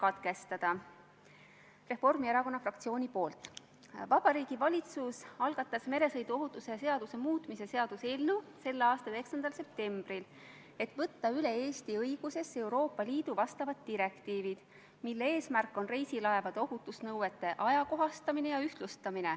Austatud Riigikogu, panen hääletusele Vabariigi Valitsuse esitatud Riigikogu otsuse "Kaitseväe kasutamine Eesti riigi rahvusvaheliste kohustuste täitmisel Põhja-Atlandi Lepingu Organisatsiooni reageerimisjõudude koosseisus" eelnõu 69.